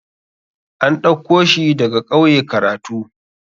An ɗauko shi daga ƙauye karatu.